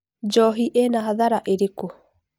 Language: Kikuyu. Njohi ĩna hathara ĩrĩkũ?